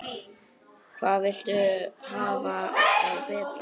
Hvað viltu hafa það betra?